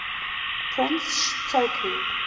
prince sh toku